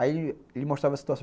Aí ele mostrava a situação.